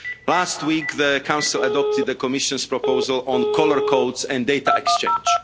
Last week, the Council adopted the Commission's proposal on colour codes and data exchange.